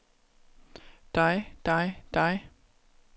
dig dig dig